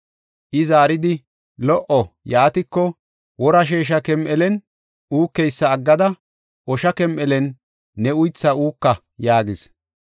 I zaaridi, “Lo77o, yaatiko, wora sheesha kem7elen uukeysa aggada, osha kem7elen ne uythaa uuka” yaagis.